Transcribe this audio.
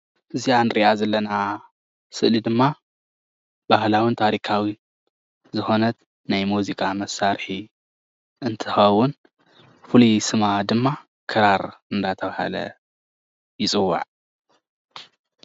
እዛ እንሪኣ ዘለና ስእሊ ድማ ባህላዊን ታሪካዊን ዝኮነት ናይ ሙዚቃ መሳርሒ እንትከውን ፍሉይ ስማ ድማ ክራር እንዳተባሃለ ይፅዋዕ፡፡